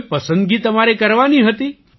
કોઈ પસંદગી તમારે કરવાની હતી